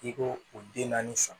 I ko o den naani san